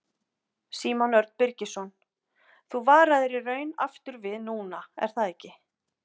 Símon Örn Birgisson: Þú varaðir í raun aftur við núna er það ekki?